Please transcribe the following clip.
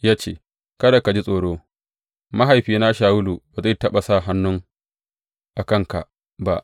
Ya ce, Kada ka ji tsoro, mahaifina Shawulu ba zai taɓa sa hannu a kanka ba.